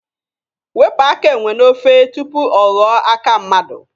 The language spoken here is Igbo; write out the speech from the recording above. Wepụ aka enwe n'ofe tupu ọ ghọọ aka mmadụ!